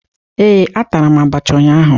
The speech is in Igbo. Ee, atara m abacha ụnyaahụ